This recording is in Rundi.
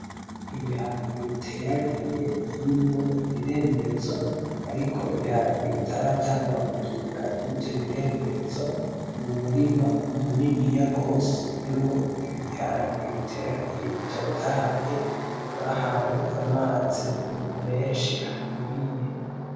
Ibiharage biteragiye birimwo imirembezo ariko ibiharage bitaratangura kudugira kurivyo birembezo, mu murima muniniya gose urimwo ibiharage biteragiye bitotahaye, bahaye amazi menshi akwiriye.